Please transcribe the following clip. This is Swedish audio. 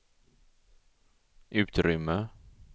utrymme